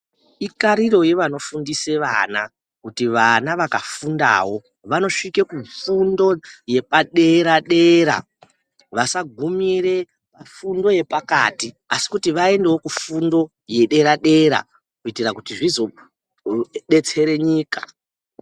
Itariro yevanofundisa vana kuti vana vakafundawo vanosvika pafundo yepadera dera, vasagumire pafundo yepakati asi kuti vaendewo kufundo yedera dera kuitira kuti zvizodetsera nyika.